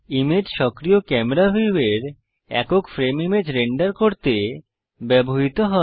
image সক্রিয় camera ভিউয়ের একক ফ্রেম ইমেজ রেন্ডার করতে ব্যবহৃত হয়